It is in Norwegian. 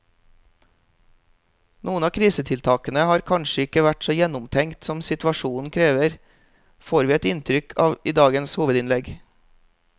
Noen av krisetiltakene har kanskje ikke vært så gjennomtenkt som situasjonen krever, får vi et inntrykk av i dagens hovedinnlegg.